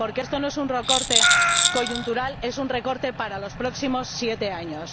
Porque esto no es un recorte coyuntural, es un recorte para los próximos siete años.